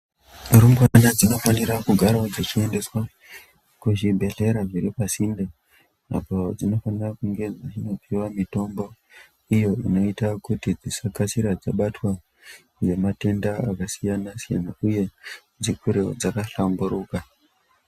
Rumbwana dzinofanira kugarawo dzichiendeswa kuzvibhedhlera zviri pasinde apo zvinokona zveindopuwa mitombo iyo inoita kuti vasabatwa nematenda akasiyana siyana uye dzikurewo zvabahlamburuka.